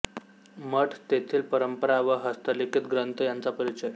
मठ तेथील परंपरा व हस्तलिखित ग्रंथ यांचा परिचय